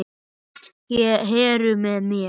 Heru með mér.